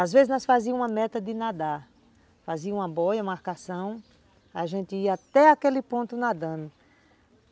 Às vezes nós fazíamos uma meta de nadar, fazíamos uma boia, uma marcação, a gente ia até aquele ponto nadando.